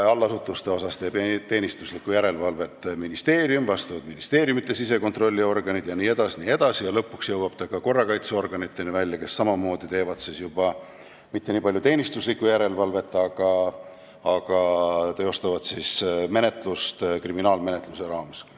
Allasutuste üle teeb teenistuslikku järelevalvet ministeerium, seda teevad vastavate ministeeriumite sisekontrolliorganid jne, lõpuks jõuab see välja ka korrakaitseorganitesse, kes ei tee juba mitte niipalju teenistuslikku järelevalvet, aga teostavad menetlust kriminaalmenetluse raames.